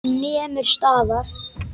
Hann nemur staðar.